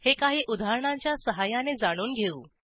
हे काही उदाहरणांच्या सहाय्याने जाणून घेऊ